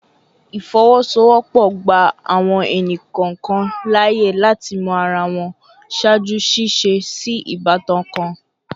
Ifowosowopo gba awọn ẹni kọọkan laaye lati mọ ara wọn ṣaaju ṣiṣe si ibatan kan